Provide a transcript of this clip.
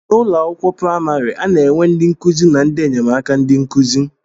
N'ụlọ akwụkwọ praimari, a na-enwe ndị nkụzi na ndị enyemaka ndị nkụzi.